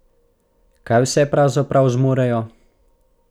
Kaj vse pravzaprav zmorejo!